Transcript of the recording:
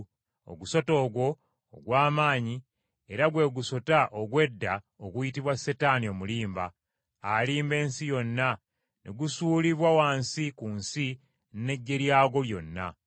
Ogusota ogwo ogw’amaanyi, era gwe gusota ogw’edda oguyitibwa Setaani Omulimba, alimba ensi yonna, ne gusuulibwa wansi ku nsi n’eggye lyagwo lyonna.